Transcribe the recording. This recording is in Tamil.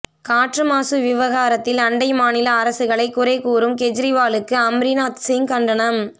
காற்றுமாசு விவகாரத்தில் அண்டை மாநில அரசுகளை குறைகூறும் கெஜ்ரிவாலுக்கு அம்ரீந்தர்சிங் கண்டனம்